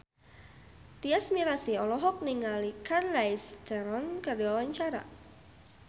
Tyas Mirasih olohok ningali Charlize Theron keur diwawancara